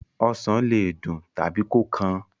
Osàn le dùn tàbí kó kan.